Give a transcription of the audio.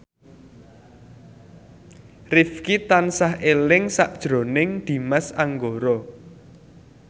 Rifqi tansah eling sakjroning Dimas Anggara